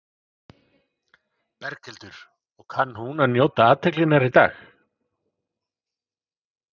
Berghildur: Og kann hún að njóta athyglinnar í dag?